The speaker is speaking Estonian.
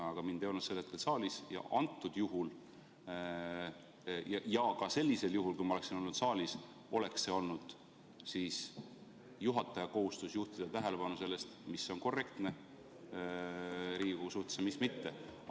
Aga mind ei olnud sel hetkel saalis ja isegi siis, kui ma oleksin olnud saalis, oleks see olnud ikkagi juhataja kohustus juhtida tähelepanu sellele, mis on korrektne Riigikogu suhtes ja mis mitte.